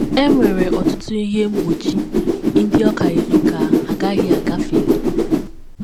E nwere ọtụtụ ihe mgbochi ndị ọ ka yiri ka ha agaghị agafeli.